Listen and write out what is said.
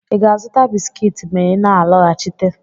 ị ga-azụta bisikiiti ma ị na alọghachite?